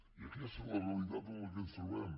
i aquesta és la realitat en què ens trobem